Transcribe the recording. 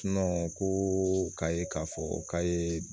ko k'a ye k'a fɔ k'a ye